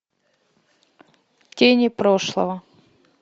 тени прошлого